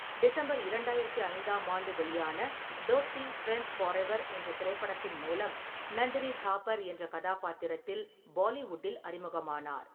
December இரண்டாயிரத்தி ஐந்தாம் ஆண்டு வெளியான தோஸ்தி: ஃபிரண்ட்ஸ் ஃபாரெவர் என்ற திரைப்படத்தின் மூலம் நந்தினி தாப்பர் என்ற கதாபாத்திரத்தில் பாலிவுட்டில் அறிமுகமானார்.